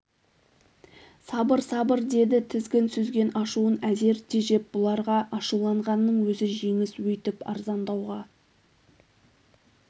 сабыр сабыр деді тізгін сүзген ашуын әзер тежеп бұларға ашуланғанның өзі жеңіс өйтіп арзандауға